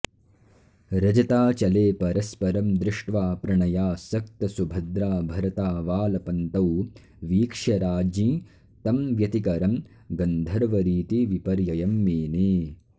रजताचले परस्परं दृष्ट्वा प्रणयासक्त सुभद्राभरतावालपन्तौ वीक्ष्य राज्ञी तं व्यतिकरं गन्धर्वरीतिविपर्ययं मेने